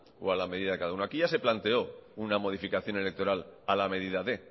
o a la medida de cada uno aquí ya se planteó una modificación electoral a la medida de